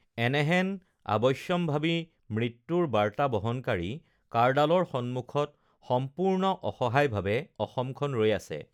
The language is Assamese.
এনেহেন আৱশ্যম্ভাৱী মৃত্যুৰ বাৰ্তা বহনকাৰী কাঁড়ডালৰ সন্মুখত সম্পূৰ্ণ অসহায়ভাৱে অসমখন ৰৈ আছে